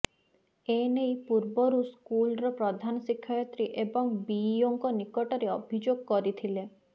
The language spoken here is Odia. ଏନେଇ ପୂର୍ବରୁ ସ୍କୁଲର ପ୍ରଧାନଶିକ୍ଷୟତ୍ରୀ ଏବଂ ବିଇଓଙ୍କ ନିକଟରେ ଅଭିଯୋଗ କରିଥିଲେ